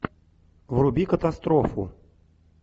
вруби катастрофу